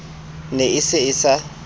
ne e se e sa